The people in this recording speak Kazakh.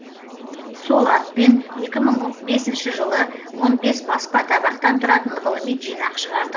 сол атпен екі мың бесінші жылы он бес баспа табақтан тұратын ғылыми жинақ шығардық